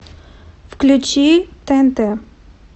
включи тнт